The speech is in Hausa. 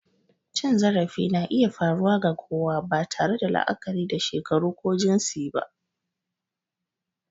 Cin zarafi na iya faruwa ga kowa, ba tare da la'akari da shekaru ko jinsi ba.